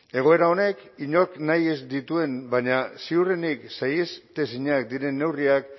egoera honek inork nahi ez dituen baina ziurrenik saieztezinak diren neurriak